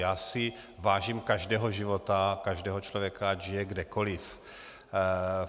Já si vážím každého života, každého člověka, ať žije kdekoliv.